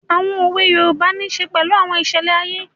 Àwọn òwe yoòbá nisè pẹ̀lú àwọn ìṣẹlẹ̀ ayé